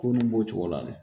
Ko nin b'o cogo la